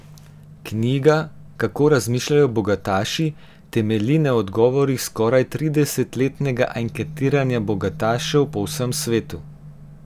Knjiga, Kako razmišljajo bogataši, temelji na odgovorih skoraj trideset letnega anketiranja bogatašev po vsem svetu.